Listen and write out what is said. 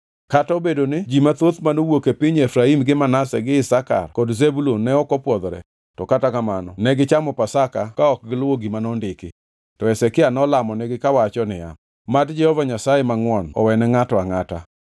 Kata obedo ni ji mathoth manowuok e piny Efraim gi Manase gi Isakar kod Zebulun ne ok opwodhore, to kata kamano negichamo Pasaka ka ok giluwo gima nondiki. To Hezekia nolamonigi kawacho niya, “Mad Jehova Nyasaye mangʼwon owene ngʼato angʼata,